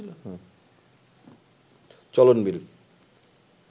চলন বিল